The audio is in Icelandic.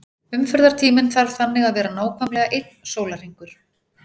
Umferðartíminn þarf þannig að vera nákvæmlega einn sólarhringur.